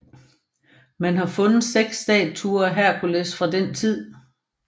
Man har fundet seks statuer af Herkules fra den tid